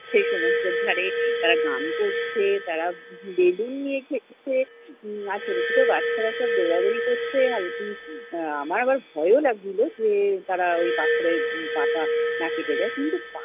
সে সমুদ্রের ধারে আহ গান করছে, তারা বেলুন নিয়ে খেলছে, উম আর ছোটছোট বাচ্চারা সব দৌড়াদৌড়ি করছে। আমার আবার ভয়ও লাগছিল যে তারা ওই পাথরে পা টা না কেটে যায়। কিন্তু